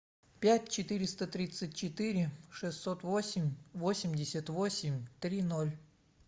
пять четыреста тридцать четыре шестьсот восемь восемьдесят восемь три ноль